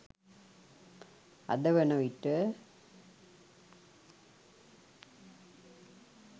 අද වන විට